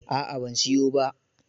A'a ban siyo ba.